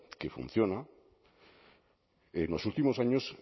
que funciona en los últimos años